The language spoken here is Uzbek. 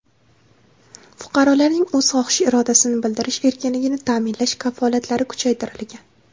Fuqarolarning o‘z xohish-irodasini bildirish erkinligini ta’minlash kafolatlari kuchaytirilgan”.